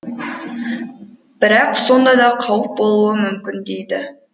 бірақ сонда да қауіп болуы мүмкін дейді